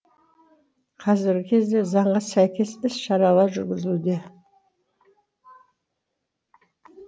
қазіргі кезде заңға сәйкес іс шаралар жүргізілуде